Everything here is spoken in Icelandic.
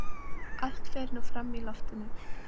Allt fer nú fram í loftinu.